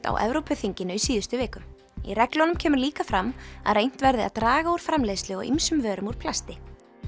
á Evrópuþinginu í síðustu viku í reglunum kemur líka fram að reynt verði að draga úr framleiðslu á ýmsum vörum úr plasti